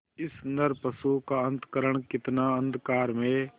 इस नरपशु का अंतःकरण कितना अंधकारमय